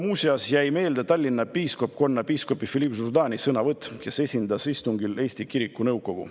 Mulle jäi meelde Tallinna piiskopkonna piiskopi Philippe Jourdani sõnavõtt, kes esindas istungil Eesti Kirikute Nõukogu.